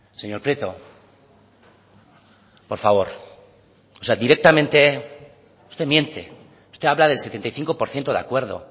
señor prieto por favor o sea directamente usted miente usted habla del setenta y cinco por ciento de acuerdo